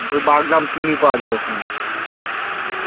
ওই বাগদা চিংড়ী পাওয়া যায় ওখানে